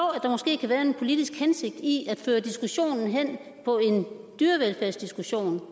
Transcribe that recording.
at der måske kan være en politisk hensigt i at føre diskussionen hen på en diskussion